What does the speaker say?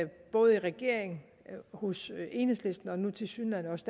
både i regeringen hos enhedslisten og nu tilsyneladende også